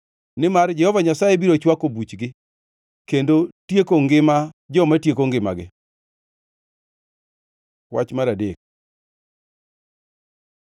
nimar Jehova Nyasaye biro chwako buchgi, kendo tieko ngima joma tieko ngimagi. Wach mar adek